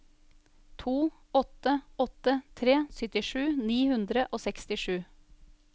to åtte åtte tre syttisju ni hundre og sekstisju